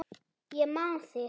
Ég man þig!